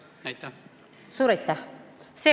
Suur aitäh!